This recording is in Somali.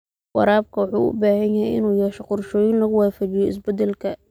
Waraabka wuxuu u baahan yahay inuu yeesho qorshooyin lagu waafajiyo isbeddelka.